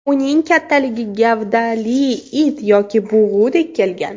Uning kattaligi gavdali it yoki bug‘udek kelgan.